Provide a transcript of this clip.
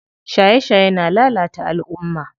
Shaye shaye na lalata alumma.